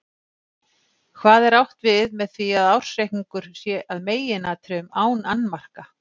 Hvað er átt við með því að ársreikningur sé að meginatriðum án annmarka?